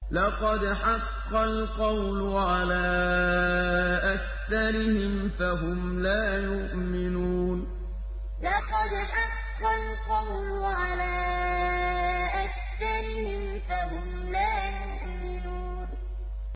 لَقَدْ حَقَّ الْقَوْلُ عَلَىٰ أَكْثَرِهِمْ فَهُمْ لَا يُؤْمِنُونَ لَقَدْ حَقَّ الْقَوْلُ عَلَىٰ أَكْثَرِهِمْ فَهُمْ لَا يُؤْمِنُونَ